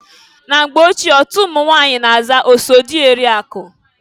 Na mgbe ochie otu ụmụnwanyị na-aza oso dị eri akụ.